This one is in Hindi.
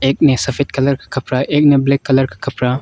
एक ने सफेद कलर का कपड़ा एक ने ब्लैक कलर का कपड़ा।